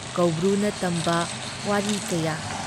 ꯀꯧꯕ꯭ꯔꯨꯅ ꯇꯝꯕ ꯋꯥꯔꯤ ꯀꯌꯥ ꯫